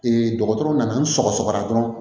dɔgɔtɔrɔw nana n sɔgɔra dɔrɔn